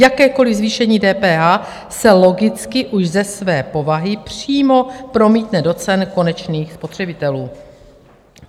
Jakékoliv zvýšení DPH se logicky už ze své povahy přímo promítne do cen konečných spotřebitelů.